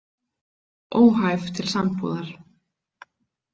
Óhæf til sambúðar.